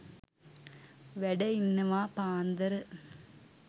වැඩ ඉන්නවා පාන්දර.